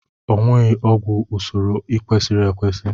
Owụghị ọgwụ n'usoro kwesịrị ekwesị